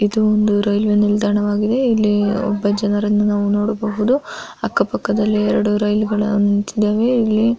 ಇದು ಒಂದು ರೈಲ್ವೆ ನಿಲ್ದಾಣವಾಗಿದೆ ಇಲ್ಲಿ ಒಬ್ಬ ಜನರನ್ನು ನೋಡಬಹುದು ಅಕ್ಕ ಪಕ್ಕದಲ್ಲಿ ಎರಡು ರೈಲುಗಳು ನಿಂತಿದ್ದಾವೆ ಇಲ್ಲಿ --